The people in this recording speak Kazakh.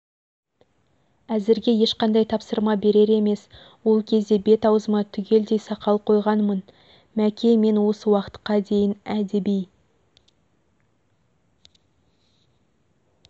әзірге ешқандай тапсырма берер емес ол кезде бет-аузыма түгелдей сақал қойғанмын мәке мен осы уақытқа дейін әдеби